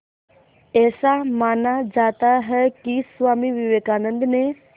ऐसा माना जाता है कि स्वामी विवेकानंद ने